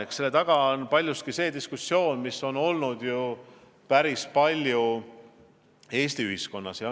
Eks selle taga on paljuski see diskussioon, mida on päris palju Eesti ühiskonnas peetud.